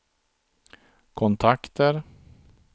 kontakter